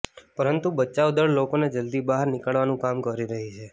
પરંતુ બચાવ દળ લોકોને જલદી બહાર નીકાળવાનું કામ કરી રહી છે